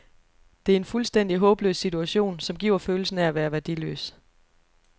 Det er en fuldstændig håbløs situation, som giver følelsen af at være værdiløs.